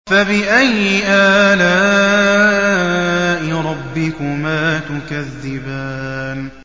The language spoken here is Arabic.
فَبِأَيِّ آلَاءِ رَبِّكُمَا تُكَذِّبَانِ